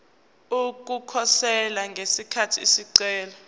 ukukhosela ngesikhathi isicelo